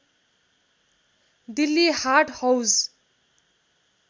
Delhi Haat Hauz